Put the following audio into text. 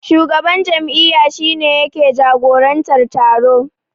Shugaban jam'iyya shi ne yake jagorantar taro.